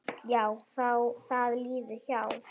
Jú, það líður hjá.